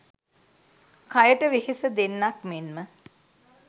කයට වෙහෙස දෙන්නක් මෙන්ම